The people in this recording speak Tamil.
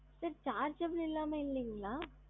sir chargeable இல்லாம இல்லைங்களா?